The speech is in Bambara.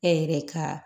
E yɛrɛ ka